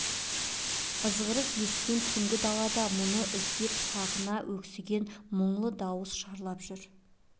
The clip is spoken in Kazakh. ызғырық ескен түнгі далада мұны іздеп сағына өксіген мұңлы даусы шарлап жүр